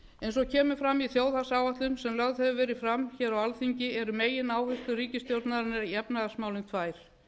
eins og kemur fram í þjóðhagsáætlun sem lögð hefur verið fram á alþingi eru megináherslur ríkisstjórnarinnar í efnahagsmálum tvær